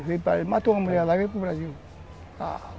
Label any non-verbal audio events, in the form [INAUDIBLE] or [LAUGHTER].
[UNINTELLIGIBLE] Ele matou uma mulher lá e veio para o Brasil.